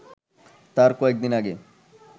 তার কয়েকদিন আগে